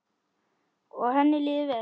Og henni líður vel.